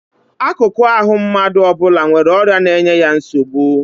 Akụkụ ahụ mmadụ ọ bụla nwere ọrịa na-enye ya nsogbu